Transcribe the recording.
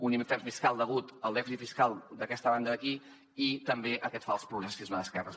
un infern fiscal degut al dèficit fiscal d’aquesta banda d’aquí i també a aquest fals progressisme d’esquerres